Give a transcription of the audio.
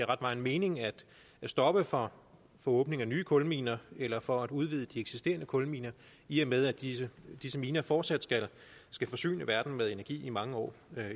ret meget mening at stoppe for åbning af nye kulminer eller for at udvide de eksisterende kulminer i og med at disse disse miner fortsat skal forsyne verden med energi i mange år